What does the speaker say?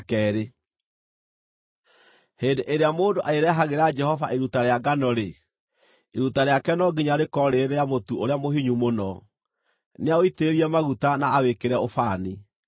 “ ‘Hĩndĩ ĩrĩa mũndũ arĩrehagĩra Jehova iruta rĩa ngano-rĩ, iruta rĩake no nginya rĩkorwo rĩrĩ rĩa mũtu ũrĩa mũhinyu mũno. Nĩaũitĩrĩrie maguta na awĩkĩre ũbani,